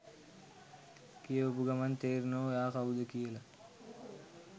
කියවපු ගමන් තේරෙනවා ඔයා කවුද කියලා.